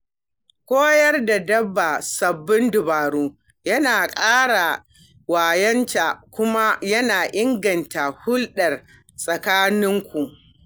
Koyar da dabba sabbin dabaru yana kara wayonta kuma yana inganta hulɗa tsakaninku.